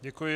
Děkuji.